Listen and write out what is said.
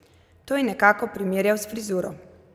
To je nekako primerjal s frizuro!